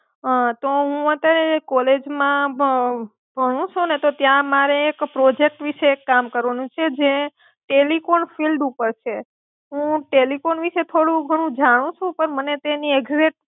હા, તો હું અત્યારે એક કોલેજમાં ભ ભણું છુ ને, તો ત્યાં મારે એક પ્રોજેક્ટ વિષે એક કામ કરવાનું છે, જે ટેલિકોમ ફિલ્ડ ઉપર છે. હું ટેલિકોમ વિશે થોડું ખાણું જાણું છુ પણ મારે તેની એક્ષક્ટ